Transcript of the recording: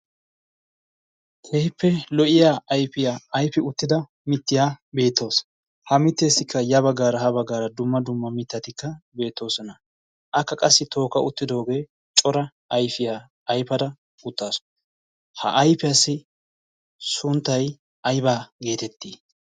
Keehippe lo''iyaa ayfiyaa ayfida mittati beettoosona. ha mittessikka ya baggara ha baggara cora mittati beettoosona. akka qassi tookka uttidooge cora ayfiyaa ayfada uttaasu. ha ayfiyaassi sunttay aybba geteetti?